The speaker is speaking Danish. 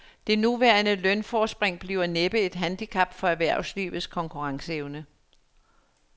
Det nuværende lønforspring bliver næppe et handicap for erhvervslivets konkurrenceevne.